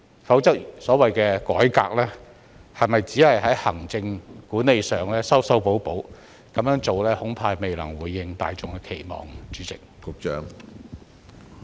否則所謂改革只會流於行政管理上的修修補補，此舉恐怕未能回應大眾的期望。